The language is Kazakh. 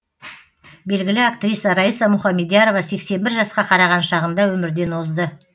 белгілі актриса райса мухамедиярова сексен бір жасқа қараған шағында өмірден озды